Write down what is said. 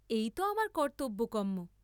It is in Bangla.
এই ত আমার কর্ত্তব্য কর্ম্ম।